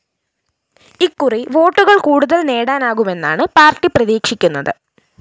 ഇക്കുറി വോട്ടുകള്‍ കൂടുതല്‍ നേടാനാകുമെന്നാണ് പാര്‍ട്ടി പ്രതീക്ഷിക്കുന്നത്